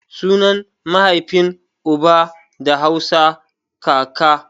Sunan maihafin uba da Hausa kaka